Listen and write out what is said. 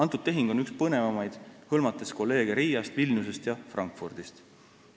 See tehing on üks põnevamaid, hõlmates kolleege Riiast, Vilniusest ja Frankfurdist.